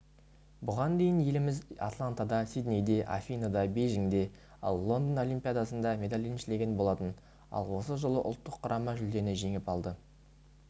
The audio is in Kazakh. бұған дейін еліміз атлантада сиднейде афиныда бейжіңде ал лондон олимпиадасында медаль еншілеген болатын ал осы жолы ұлттық құрама жүлдені жеңіп алды